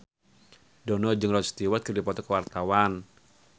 Dono jeung Rod Stewart keur dipoto ku wartawan